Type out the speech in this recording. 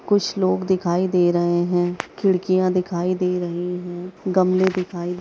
कुछ लोग दिखाई दे रहे है। खिड़कियाँ दिखाई दे रही है। गमले दिखाई दे --